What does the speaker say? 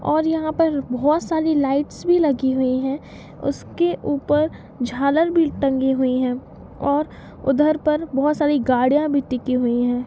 और यहाँ पर बहुत सारी लाइट्स भी लगी हुई है उसके ऊपर झालर भी टंगी हुई है और उधर पर बहुत सारी गाड़ियाँ भी टिकी हुई है।